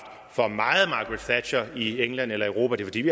til at vælge man